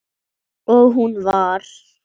Og hún var